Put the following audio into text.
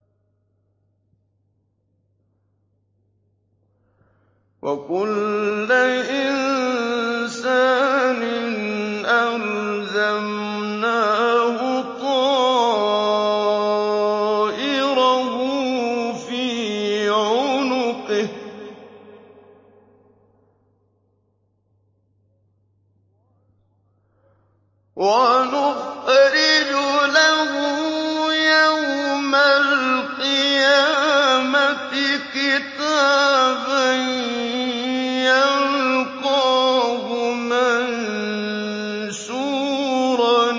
وَكُلَّ إِنسَانٍ أَلْزَمْنَاهُ طَائِرَهُ فِي عُنُقِهِ ۖ وَنُخْرِجُ لَهُ يَوْمَ الْقِيَامَةِ كِتَابًا يَلْقَاهُ مَنشُورًا